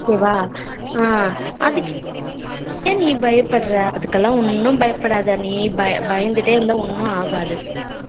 ok வா ஹம் அதுக்கு என் நீ பயபடுற அதுகுலாம் ஒண்ணும் பயபடாத நீ பயந்துடே இருந்தா ஒண்ணும் ஆகாது